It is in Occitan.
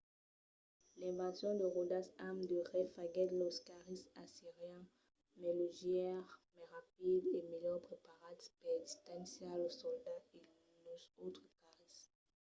l'invencion de ròdas amb de rais faguèt los carris assirians mai leugièrs mai rapids e melhor preparats per distanciar los soldats e los autres carris